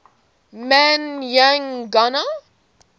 man y gana